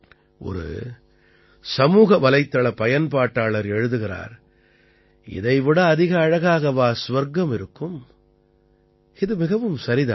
ஒரு சமூகவலைத்தள பயன்பாட்டாளர் எழுதுகிறார் இதைவிட அதிக அழகாகவா சுவர்க்கம் இருக்கும் இது மிகவும் சரி தான்